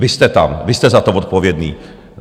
Vy jste tam, vy jste za to odpovědní.